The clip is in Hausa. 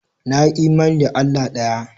Na yi imani da Allah ɗaya.